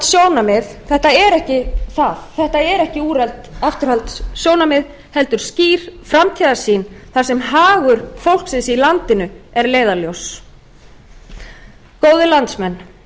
úrelt afturhaldssjónarmið þetta er ekki það þetta eru ekki úrelt afturhaldssjónarmið heldur skýr framtíðarsýn þar sem hagur fólksins í landinu er leiðarljós góðir landsmenn